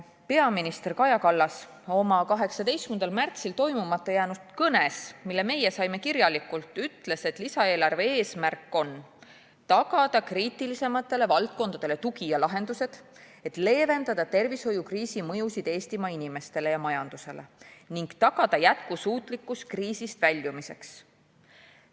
Peaminister Kaja Kallas oma 18. märtsil pidamata jäänud kõnes, mille meie saime kirjalikult, ütles, et lisaeelarve eesmärk on tagada kriitilisematele valdkondadele tugi ja lahendused, et leevendada tervishoiukriisi mõju Eestimaa inimestele ja majandusele ning tagada jätkusuutlikkus kriisist väljumiseks.